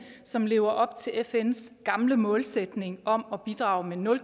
som lever op til fns gamle målsætning om at bidrage med nul